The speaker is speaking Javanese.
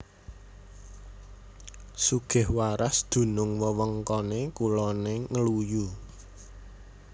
Sugihwaras dunung wewengkone kulone Ngluyu